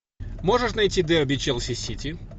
можешь найти дерби челси сити